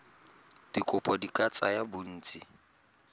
dikopo di ka tsaya bontsi